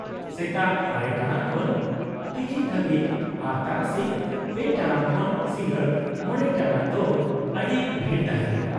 -ᱥᱮᱛᱟᱜ ᱙ ᱴᱟᱲᱟᱝ ᱠᱷᱚᱱ ᱛᱤᱠᱤᱱ ᱫᱷᱟᱹᱵᱤᱡ, ᱟᱨ ᱛᱟᱨᱟᱥᱤᱧ ᱓ ᱴᱟᱲᱟᱝ ᱠᱷᱚᱱ ᱥᱤᱜᱟᱸᱲ ᱕ ᱴᱟᱲᱟᱝ ᱫᱚ ᱟᱹᱰᱤ ᱵᱷᱤᱲ ᱛᱟᱦᱮᱸᱱᱟ ᱾